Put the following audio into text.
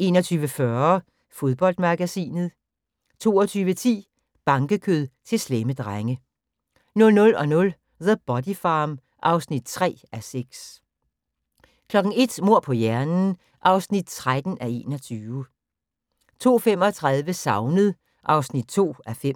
21:40: Fodboldmagasinet 22:10: Bankekød til slemme drenge 00:00: The Body Farm (3:6) 01:00: Mord på hjernen (13:21) 02:35: Savnet (2:5)